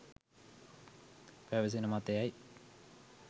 පැවසෙන මතයයි